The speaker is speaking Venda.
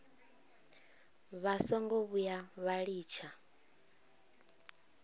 vha songo vhuya vha litsha